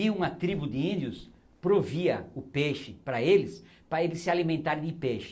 E uma tribo de índios provia o peixe para eles, para eles se alimentarem de peixe.